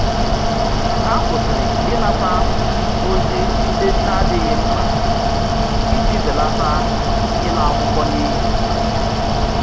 Ha kwụsịrị ịnata ozi ndị n'adighi mkpa iji belata ịla akwụkwọ n'iyi